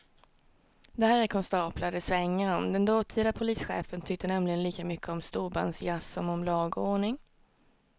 Det här är konstaplar det svänger om, den dåtida polischefen tyckte nämligen lika mycket om storbandsjazz som om lag och ordning.